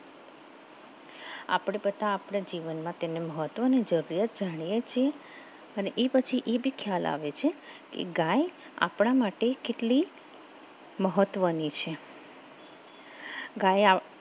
આપણે બધા આપણા જીવનમાં તેની મહત્વની જરૂરિયાત જાણીએ છીએ અને એ પછી એ ભી ખ્યાલ આવે છે કે ગાય આપણા માટે કેટલી મહત્વની છે ગાય આવ